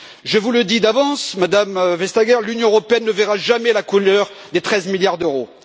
Je vous le dis d'avance, Madame Vestager, l'Union européenne ne verra jamais la couleur des 13 milliards d'euros.